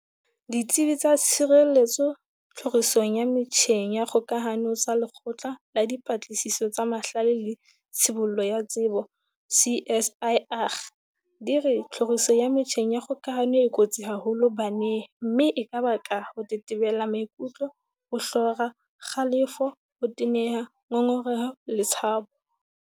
Ditsebi tsa tshireletso tlhorisong ya metjheng ya kgoka hano tsa Lekgotla la Dipatlisiso tsa Mahlale le Tshibollo ya Tsebo, CSIR, di re tlhoriso ya metjheng ya kgokahano e kotsi haholo baneng mme e ka baka ho tetebela maikutlo, ho hlora, kgalefo, ho teneha, ngongereho letshabo.